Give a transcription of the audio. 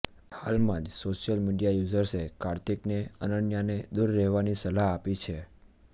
હાલમાં જ social media યૂઝર્સે કાર્તિકને અનન્યાને દૂર રહેવાની સલાહ આપી છે